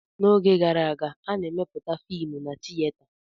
N'oge gara aga, a na-emeputa fiim na tieta.